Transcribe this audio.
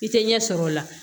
I tɛ ɲɛsɔrɔ o la